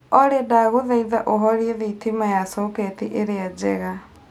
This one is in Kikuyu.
Olly ndagũthaitha ũhorie thitima ya soketi ĩrĩa njega